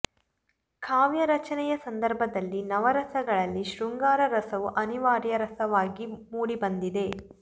ಕಾವ್ಯ ರಚನೆಯ ಸಂದರ್ಭದಲ್ಲಿ ನವ ರಸಗಳಲ್ಲಿ ಶೃಂಗಾರ ರಸವು ಅನಿವಾರ್ಯ ರಸವಾಗಿ ಮೂಡಿಬಂದಿದೆ